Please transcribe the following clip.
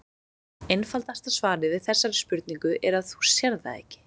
Einfaldasta svarið við þessari spurningu er að þú sérð það ekki.